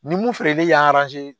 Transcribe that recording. Ni mun feereli y'an